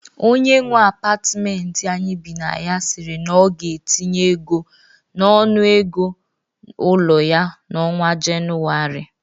Onye nwe apatmenti anyị bi na ya siri na ọ ga-etinye ego n'ọnụ ego ụlọ ya n'ọnwa Jenụarị